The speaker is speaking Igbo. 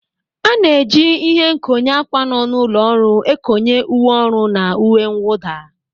A na-eji ịhe nkonye ákwà nọ n'ụlọ ọrụ ekonye uwe ọrụ na uwe mwụda.